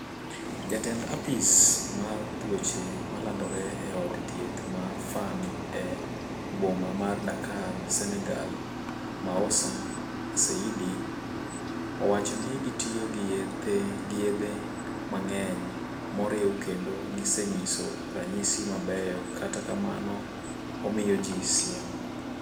Jatend apis mar tuoche ma landore e od thieth ma Fann e boma mar Dakar Senegal Moussa Seydi owacho ni gitiyo gi yethe mang'eny moriw kendo gisenyiso ranyisi mabeyo kata kamano omiyoji siem.